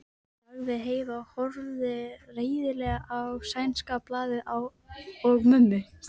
sagði Heiða og horfði reiðilega á sænska blaðið og mömmu.